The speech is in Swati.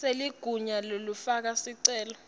seligunya lekufaka sicelo